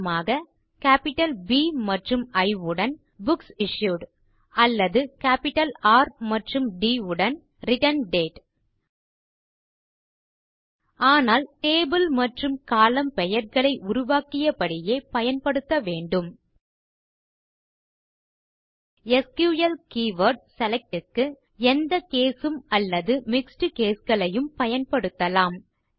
உதாரணமாக capital P மற்றும் இ உடன் புக்சிஷ்யூட் அல்லது கேப்பிட்டல் ர் மற்றும் ட் உடன் ரிட்டர்ண்டேட் ஆனால் டேபிள் மற்றும் கோலம்ன் பெயர்களை உருவாக்கியபடியே பயன்படுத்த வேண்டும் எஸ்கியூஎல் கீவர்ட் செலக்ட் க்கு எந்த கேஸ் உம் அல்லது மிக்ஸ் caseகளையும் பயன்படுத்தலாம்